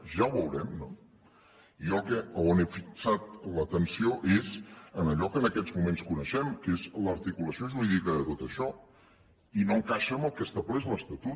ja ho veurem no jo on he fixat l’atenció és en allò que en aquests moments coneixem que és l’articulació jurídica de tot això i no encaixa amb el que estableix l’estatut